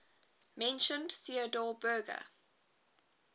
mentioned theodor berger